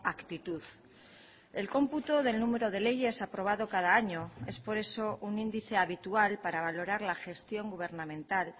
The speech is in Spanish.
actitud el cómputo del número de leyes aprobado cada año es por eso un índice habitual para valorar la gestión gubernamental